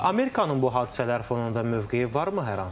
Amerikanın bu hadisələr fonunda mövqeyi varmı hər hansı bir?